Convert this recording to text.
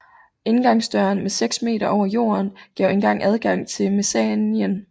Indgangsdøren sad seks meter over jorden og gav engang adgang til mezzaninen